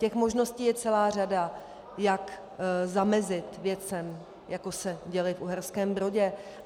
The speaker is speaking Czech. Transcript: Těch možností je celá řada, jak zamezit věcem, jako se děly v Uherském Brodě.